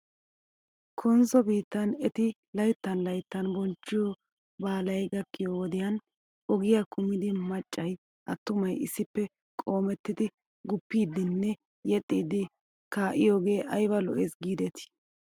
Konsso biittan eti layttan layttan bonchchiyoo baalay gakkiyoo wodiyan ogiyaa kumidi maccay attumay issippe qoomettidi guppiiddinne yexxiiddi kaa'iyoogee ayba lo'es giidetii